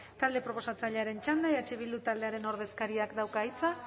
talde proposatzailearen txanda eh bildu taldearen ordezkariak dauka hitza